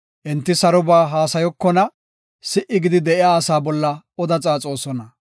Enti saroba haasayokona; si77i gidi de7iya asaa bolla oda xaaxosona.